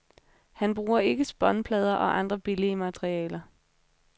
Han bruger ikke spånplader og andre billige materialer.